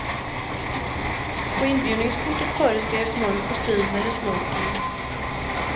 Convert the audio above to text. På inbjudningskortet föreskrevs mörk kostym eller smoking.